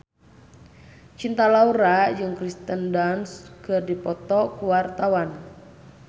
Cinta Laura jeung Kirsten Dunst keur dipoto ku wartawan